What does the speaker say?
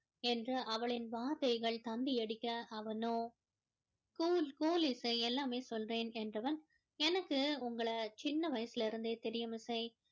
என்று அவளின் வார்த்தைகள் தந்தி அடிக்க அவனோ cool cool இசை எல்லாமே சொல்றேன் என்றவன் எனக்கு உங்கள சின்ன வயசுல இருந்தே தெரியும் இசை